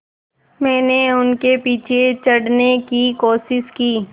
मैंने उनके पीछे चढ़ने की कोशिश की